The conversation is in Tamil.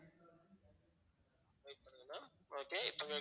okay இப்ப